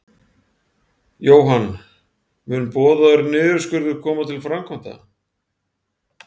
Jóhann: Mun boðaður niðurskurður koma til framkvæmda?